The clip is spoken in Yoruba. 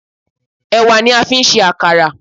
Ẹ̀wà ni a fi ń ṣe àkàrà